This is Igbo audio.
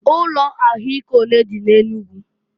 Ụlọ ahụ ike onee dị n'Enugu?